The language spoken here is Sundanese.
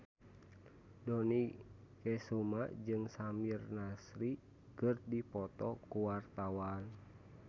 Dony Kesuma jeung Samir Nasri keur dipoto ku wartawan